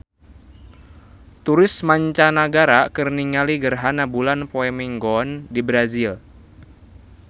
Turis mancanagara keur ningali gerhana bulan poe Minggon di Brazil